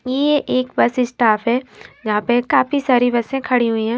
ये एक bus staff है जहाँं पर काफी सारी बसें खड़ी हुई है।